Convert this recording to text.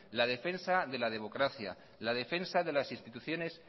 la defensa de la democracia la defensa de las instituciones